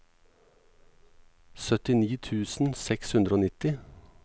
syttini tusen seks hundre og nitti